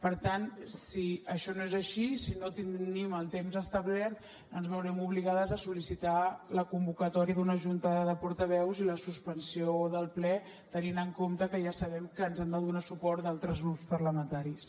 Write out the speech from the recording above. per tant si això no és així si no tenim el temps establert ens veurem obligades a sol·licitar la convocatòria d’una junta de portaveus i la suspensió del ple tenint en compte que ja sabem que ens han de donar suport d’altres grups parlamentaris